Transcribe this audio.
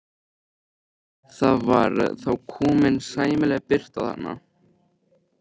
Það var þá komin sæmileg birta þarna inn.